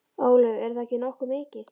Ólöf: Er það ekki nokkuð mikið?